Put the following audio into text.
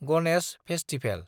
Ganesh festival